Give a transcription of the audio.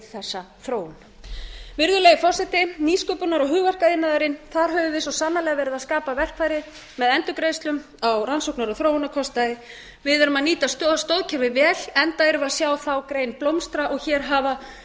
þessa þróun virðulegi forseti nýsköpunar og hugverkaiðnaðurinn þar höfum við svo sannarlega verið að skapa verkfæri með endurgreiðslum á rannsóknar og þróunar við erum að nýta stoðkerfið vel enda erum við sjá þá grein blómstra og hér